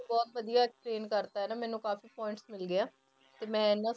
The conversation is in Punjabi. ਬਹੁਤ ਵਧੀਆ explain ਕਰ ਦਿੱਤਾ ਨਾ ਮੈਨੂੰ ਕਾਫ਼ੀ points ਮਿਲ ਗਏ ਆ, ਤੇ ਮੈਂ ਇਹਨਾਂ